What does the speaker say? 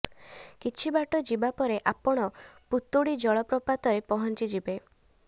କିଛି ବାଟ ଯିବା ପରେ ଆପଣ ପୁତୁଡ଼ି ଜଳପ୍ରପାତରେ ପହଞ୍ଚିଯିବେ